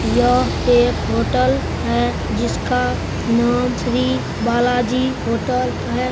यह एक होटल है जिसका नाम श्री बालाजी होटल है।